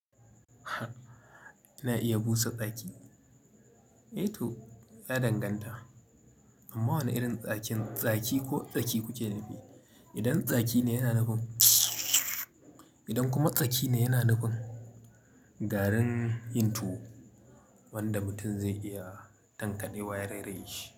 Ina iya busa tsaki? Eh to, ya danganta. Amma wane irin tsakin tsaki ko tsaki kuke nufi? Idan tsaki ne yana nufin idan kuma tsaki ne yana nufin, garin yin tuwo wanda mutum zai iya tankade ya reraye shi.